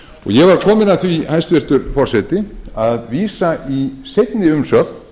ég var kominn að því hæstvirtur forseti að vísa í seinni umsögn